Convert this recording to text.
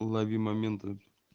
лови моменты